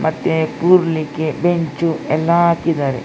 ಮತ್ತೆ ಕುರ್ಲಿಕ್ಕೆ ಬೆಂಚು ಎಲ್ಲ ಹಾಕಿದ್ದಾರೆ .